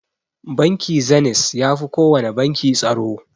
Bankin Zeniz yafi kowana banki tsaro.